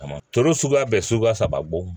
A ma toro suguya bɛɛ suguya saba bɔ